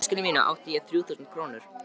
Í veskinu mínu átti ég þrjú þúsund krónur.